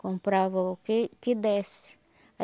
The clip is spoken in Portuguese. Comprava o que que desse.